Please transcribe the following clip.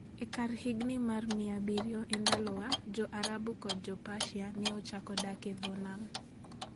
E kar higini mag 700 E Ndalowa, Jo-Arabu kod Jo-Persia ne ochako dak e dho nam.